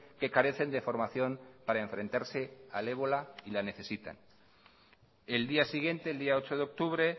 que carecen de formación para enfrentarse al ébola y la necesitan el día siguiente el día ocho de octubre